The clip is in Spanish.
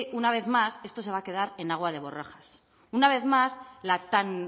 una vez más esto se va quedar en agua de borrajas una vez más la tan